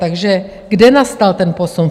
Takže kde nastal ten posun?